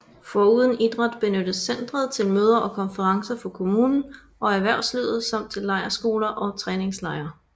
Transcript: Foruden idræt benyttes centret til møder og konferencer for kommunen og erhvervslivet samt til lejrskoler og træningslejre